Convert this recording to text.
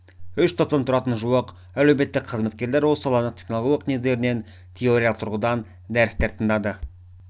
үш топтан тұратын жуық әлеуметтік қызметкерлер осы саланың технологиялық негіздерінен теориялық тұрғыда дәрістер тыңдады